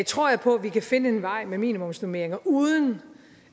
tror jeg på at vi kan finde en vej med minimumsnormeringer uden